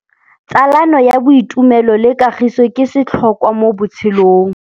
Tsalano ya boitumelo le kagiso ke setlhôkwa mo botshelong.